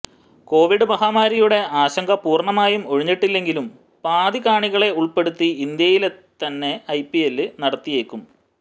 Covid മഹാമാരിയുടെ ആശങ്ക പൂര്ണ്ണമായും ഒഴിഞ്ഞിട്ടില്ലെങ്കിലും പാതി കാണികളെ ഉള്പ്പെടുത്തി ഇന്ത്യയില്ത്തന്നെ ഐപിഎല് നടത്തിയേക്കും